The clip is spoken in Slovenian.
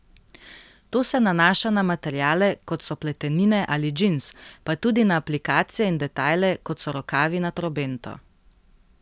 To se nanaša na materiale, kot so pletenine ali džins, pa tudi na aplikacije in detajle, kot so rokavi na trobento.